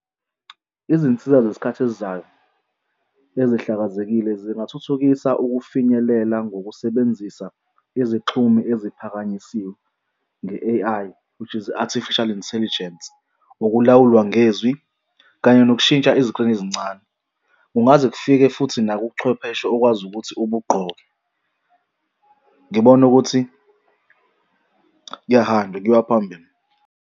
Izinsiza zesikhathi esizayo ezihlakazekile zingathuthukisa ukufinyelela ngokusebenzisa izixhumi eziphakanyisiwe nge-A_I, which is Artificial Intelligence. Ukulawulwa ngezwi kanye nokushintsha eziqwini ezincane. Kungaze kufike futhi nakubuchwepheshe okwazi ukuthi ubugqoke. Ngibona ukuthi kuyahanjwa, kuyiwa phambili.